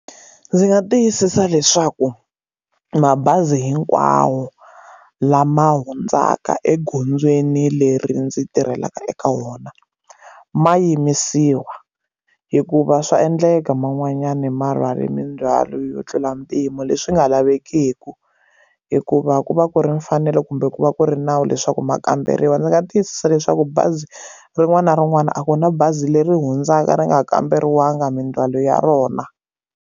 Ndzi nga tiyisisa leswaku mabazi hinkwawo lama hundzaka egondzweni leri ndzi tirhelaka eka wona ma yimisiwa hikuva swa endleka man'wanyana marwale mindzwalo yo tlula mpimo leswi nga lavekiki hikuva ku va ku ri mfanelo kumbe ku va ku ri nawu leswaku mukamberiwa ndzi nga tiyisisa leswaku bazi rin'wana na rin'wana a ku na bazi leri hundzaka ri nga kamberiwangi mindzwalo ya rona.